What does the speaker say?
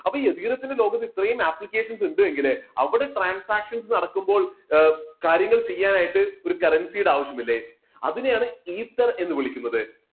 അപ്പോ ethereum തിന്റെ ലോകത്ത് ഇത്രയും applications ഉണ്ട് എങ്കില് അവിടെ transactions നടക്കുമ്പോൾ കാര്യങ്ങൾ ചെയ്യാനായിട്ട് ഒരു currency യുടെ ആവശ്യമില്ലേ അതിനെയാണ് ether എന്ന് വിളിക്കുന്നത്.